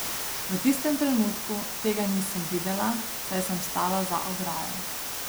V tistem trenutku tega nisem videla, saj sem stala za ograjo.